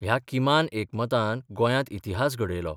ह्या किमान एकमतान गोंयांत इतिहास घडयलो.